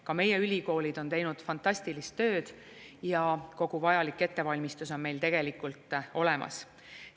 Ka meie ülikoolid on teinud fantastilist tööd ja kogu vajalik ettevalmistus on meil tegelikult olemas.